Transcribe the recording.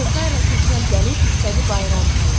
Kosayla keçəl gəlib istədi bayram payı.